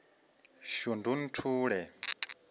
shundunthule